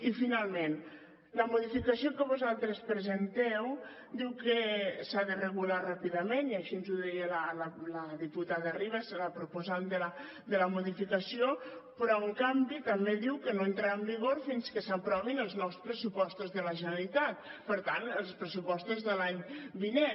i finalment la modificació que vosaltres presenteu diu que s’ha de regular ràpidament i així ens ho deia la diputada ribas la proposant de la modificació però en canvi també diu que no entrarà en vigor fins que s’aprovin els nous pressupostos de la generalitat per tant els pressupostos de l’any vinent